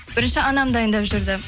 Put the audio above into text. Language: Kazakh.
бірінші анам дайындап жүрді